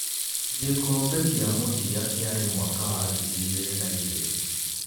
Gĩkombe kĩa mũthia kiarĩ mwaka wa ngiri igĩrĩ na igĩrĩ.